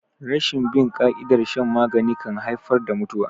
Rashin bin ƙa'idar shan magani kan haifar da mutuwa.